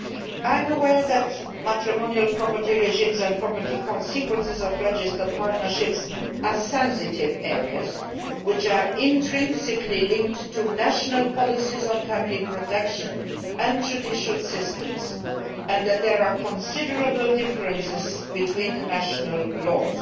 I am aware that matrimonial property regimes and property consequences of registered partnerships are sensitive areas which are intrinsically linked to national policies on family protection and judicial systems, and that there are considerable differences between the national laws.